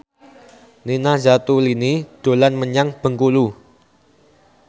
Nina Zatulini dolan menyang Bengkulu